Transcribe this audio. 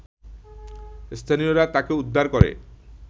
স্থানীয়রা তাকে উদ্ধার করে